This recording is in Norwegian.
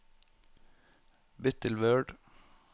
Bytt til Word